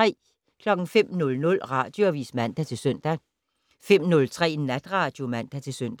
05:00: Radioavis (man-søn) 05:03: Natradio (man-søn)